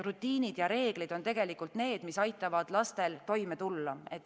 Rutiinid ja reeglid on need, mis aitavad lastel toime tulla.